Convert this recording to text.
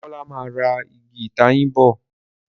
Demola má rà Ìgi ìtayín bọ.